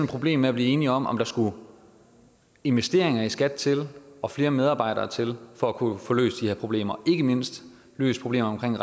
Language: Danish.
problem med at blive enige om om der skulle investeringer i skat til og flere medarbejdere til for at kunne få løst de her problemer ikke mindst få løst problemerne